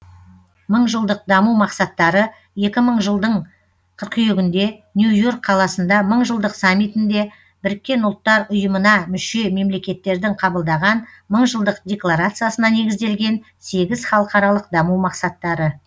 мыңжылдық даму мақсаттары екі мың жылдың қыркүйегінде нью йорк қаласында мыңжылдық саммитінде біріккен ұлттар ұйымына мүше мемлекеттердің қабылдаған мыңжылдық декларациясына негізделген сегіз халықаралық даму мақсаттары